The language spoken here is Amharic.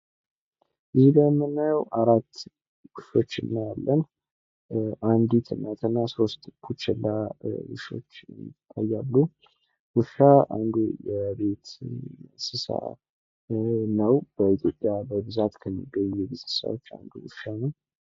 እዚጋ የምናየው አራት ውሾችን እናያለን አንዲት እናት ውሻና ሦስት ቡችላ ውሾች አሉ ፤ ውሻ የቤት እንስሳ ነው በኢትዮጵያ በብዛት ከሚገኘው የቤት እንስሳዎች መካከል አንዱ ነው።